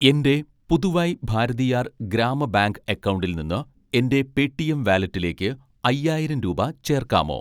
എൻ്റെ പുതുവൈ ഭാരതിയാർ ഗ്രാമ ബാങ്ക് അക്കൗണ്ടിൽ നിന്ന് എൻ്റെ പേടിഎം വാലറ്റിലേക്ക് അയ്യായിരം രൂപ ചേർക്കാമോ?